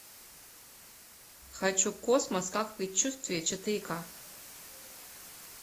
хочу космос как предчувствие четыре ка